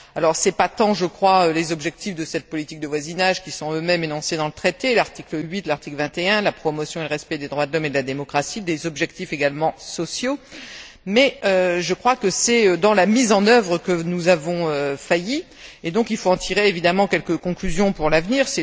Ce n'est pas tant, je crois, les objectifs de cette politique de voisinage, qui sont eux mêmes énoncés dans le traité l'article 8, l'article 21, la promotion et le respect des droits de l'homme et de la démocratie, des objectifs également sociaux qui posent problème, mais je crois que c'est dans leur mise en œuvre que nous avons failli, et donc il faut en tirer, évidemment, quelques conclusions pour l'avenir.